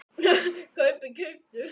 kaupið- keyptuð